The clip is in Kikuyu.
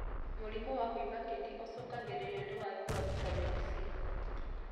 Mũrimũ wa kũimba kĩni ũcũngagĩrĩrio nĩ wagi wa vitameni C